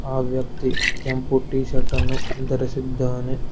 ಆ ವ್ಯಕ್ತಿ ಕೆಂಪು ಟಿ ಶರ್ಟ್ ಅನ್ನು ಧರಿಸಿದ್ದಾನೆ.